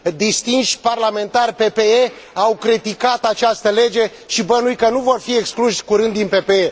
Distinși parlamentari PPE au criticat această lege și bănuiesc că nu vor fi excluși curând din PPE.